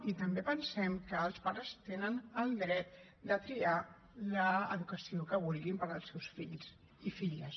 i també pensem que els pares tenen el dret de triar l’educació que vulguin per als seus fills i filles